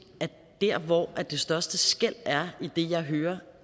at der hvor det største skel er i det jeg hører